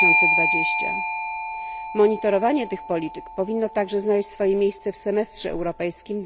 2020. Monitorowanie tych polityk powinno także znaleźć swoje miejsce w semestrze europejskim